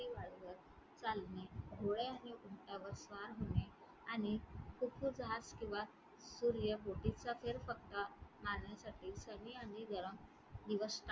त्या वाळूवर चालणे घोडे आणि उंटावर स्वार होणे आणि khufu जहाज किंवा सूर्य बोटीचा फेरफटका मारण्यासाठी थंडी आणि गरम दिवस